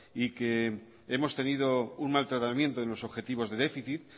y que hemos tenido un maltratamiento en los objetivos de déficit